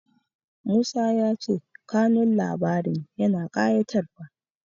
Musa ya ce kanun labarin yana ƙayatarwa.